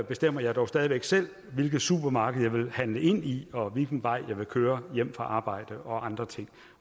bestemmer jeg dog stadig væk selv hvilket supermarked jeg vil handle ind i og hvilken vej jeg vil køre hjem fra arbejde og andre ting